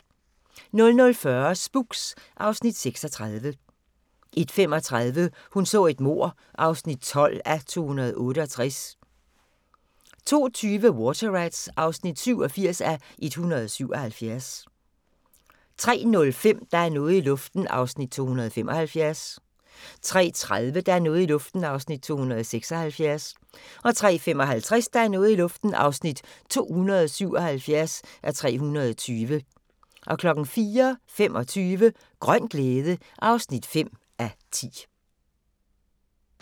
00:40: Spooks (Afs. 36) 01:35: Hun så et mord (12:268) 02:20: Water Rats (87:177) 03:05: Der er noget i luften (275:320) 03:30: Der er noget i luften (276:320) 03:55: Der er noget i luften (277:320) 04:25: Grøn glæde (5:10)